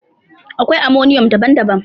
Akwai ammonium daban-daban.